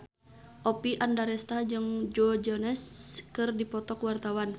Oppie Andaresta jeung Joe Jonas keur dipoto ku wartawan